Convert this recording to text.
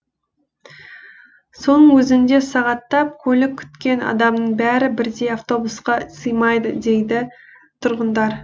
соның өзінде сағаттап көлік күткен адамның бәрі бірдей автобусқа сыймайды дейді тұрғындар